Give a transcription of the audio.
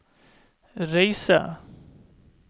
reise